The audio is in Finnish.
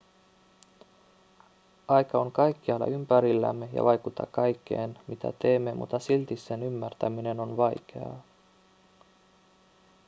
aika on kaikkialla ympärillämme ja vaikuttaa kaikkeen mitä teemme mutta silti sen ymmärtäminen on vaikeaa